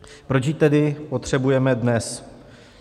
Proč ji tedy potřebujeme dnes?